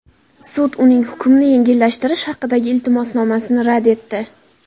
Sud uning hukmni yengillashtirish haqidagi iltimosnomasini rad etdi.